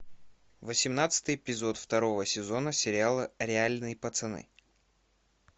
восемнадцатый эпизод второго сезона сериала реальные пацаны